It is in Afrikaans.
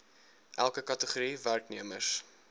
elke kategorie werknemers